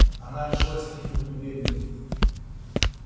она решилась к нему прибегнуть